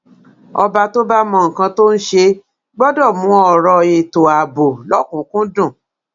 ọba tó bá mọ nǹkan tó ń ṣe gbọdọ mú ọrọ ètò ààbò lọkùnkúndùn